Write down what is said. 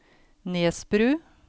Nesbru